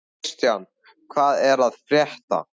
Kristian, hvað er að frétta?